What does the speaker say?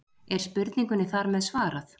Er spurningunni þar með svarað?